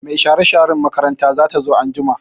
Mai share-sharen makaranta zata zo anjima.